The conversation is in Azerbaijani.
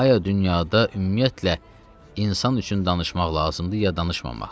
Aya dünyada ümumiyyətlə insan üçün danışmaq lazımdır ya danışmamaq.